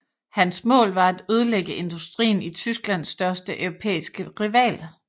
Hans mål var at ødelægge industrien i Tysklands største europæiske rival